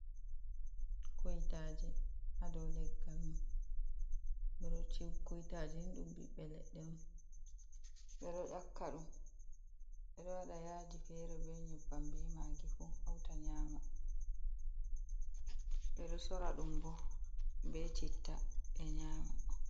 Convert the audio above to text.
Kuytaji hadou legg mun ɓeɗo kuytaji ni ɗum ɓiɓbe leɗɗe on ɓeɗo ƴaka ɗum ɓedo waɗa yaji fere ɓe nyebbam be magifu hauta nyama, ɓeɗo sora ɗum bo ɓe citta ɓe nyama.